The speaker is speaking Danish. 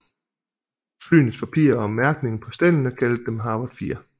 Flyenes parpirer og mærkningen på stellene kaldte dem Harvard 4